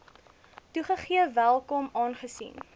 toegegee welkom aangesien